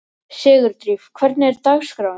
Sigurdríf, hvernig er dagskráin?